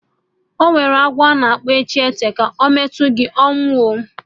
Enwere agwọ a na-akpọ e ji eteka, ọ metụ gị ehn, ọnwụ ooo